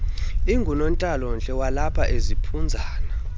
ingunontlalontle walapha eziphunzana